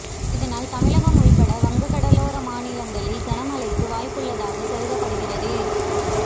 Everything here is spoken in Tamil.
இதனால் தமிழகம் உள்பட வங்கக்கடலோர மாநிலங்களில் கனமழைக்கு வாய்ப்பு உள்ளதாக கருதப்படுகிறது